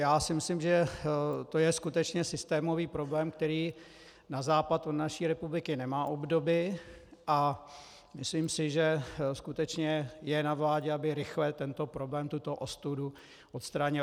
Já si myslím, že to je skutečně systémový problém, který na západ od naší republiky nemá obdoby, a myslím si, že skutečně je na vládě, aby rychle tento problém, tuto ostudu odstranila.